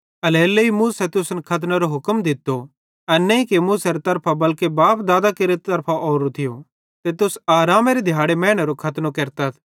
एल्हेरेलेइ मूसा तुसन खतनेरो हुक्म दित्तो एना नईं कि मूसारे तरफांए बल्के बाप दादां करां च़लतो ओरोए ते तुस आरामेरे दिहाड़े मैनेरो खतनो केरतथ